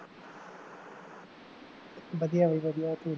ਵਧੀਆ ਬਈ ਵਧੀਆ ਤੂੰ